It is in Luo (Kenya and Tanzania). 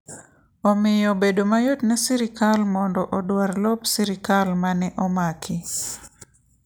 Omiyo bedo mayot ne sirkal mondo odwar lop sirkal ma ne omaki.